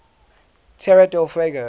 tierra del fuego